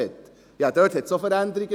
Dort gab es auch Veränderungen.